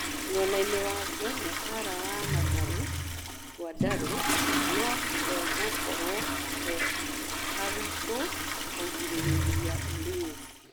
Mwenainĩ wake nyabara wa Mathare, Gwandarũ, no hegũkorwo he haritũ kũrigĩrĩria Ulinzi.